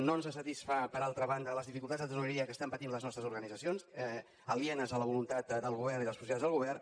no ens satisfan per altra banda les dificultats de tresoreria que pateixen les nostres organitzacions alienes a la voluntat del govern i de les possibilitats del govern